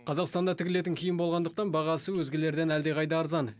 қазақстанда тігілетін киім болғандықтан бағасы өзгелерден әлдеқайда арзан